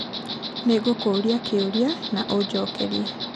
nĩngũkũũria kĩũria na ũnjokerie